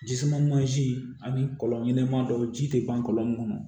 Ji suma mansin ani kɔlɔn ɲɛnɛman dɔw ji tɛ ban kɔlɔn min kɔnɔ